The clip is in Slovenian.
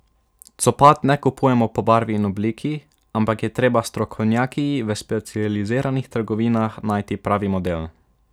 Copat ne kupujemo po barvi in obliki, ampak je treba s strokovnjaki v specializiranih trgovinah najti pravi model.